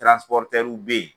be yen